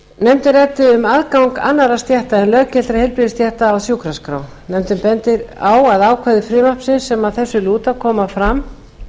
nefndin ræddi um aðgang annarra stétta en löggiltra heilbrigðisstétta að sjúkraskrá nefndin bendir á að ákvæði frumvarpsins sem að þessu lúta koma fram